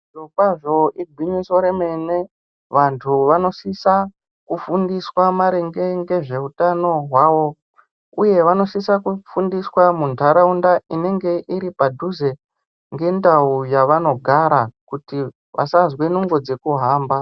Zvirokwazvo igwinyiso remene vantu vanosisa kufundiswa maringe ngezveutano hwavo. Uye vanosise kufundiswa muntaraunda inenge iripadhuze ngendau yavanogara kuti vasazwe nungo dzekuhamba.